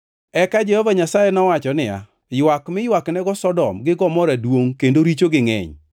Eka Jehova Nyasaye nowacho niya, “Ywak mi ywaknego Sodom gi Gomora duongʼ kendo richogi ngʼeny,